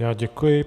Já děkuji.